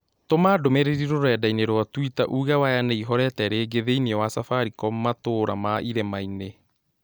Tũma ndũmĩrĩri rũrenda-inī rũa tũita uuge waya nĩihorete rĩĩngĩ thĩĩnĩ wa safaricom matũũra ma irĩmainĩ